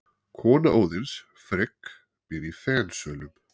Kona Óðins, Frigg, býr í Fensölum.